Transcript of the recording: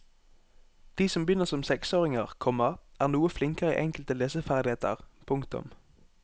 De som begynner som seksåringer, komma er noe flinkere i enkelte leseferdigheter. punktum